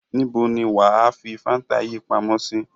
Níbo ni wà á fi Fanta yìí pamọ́ sí?